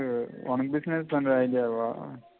உனக்கு business பண்ற idea வா